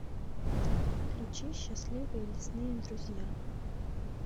включи счастливые лесные друзья